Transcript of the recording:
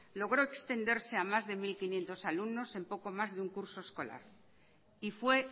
logró extenderse a más de mil quinientos alumnos en poco más de un curso escolar y fue